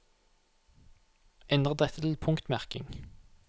Endre dette til punktmerking